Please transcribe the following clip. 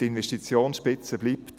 Die Investitionsspitze bleibt.